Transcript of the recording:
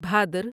بھادر